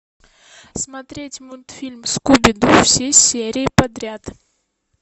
смотреть мультфильм скуби ду все серии подряд